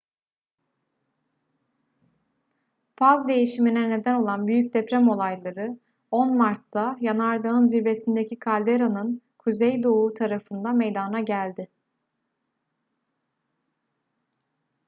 faz değişimine neden olan büyük deprem olayları 10 mart'ta yanardağın zirvesindeki kalderanın kuzeydoğu tarafında meydana geldi